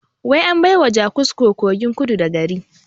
Wai an baiwa jakusko kogin kudu da gari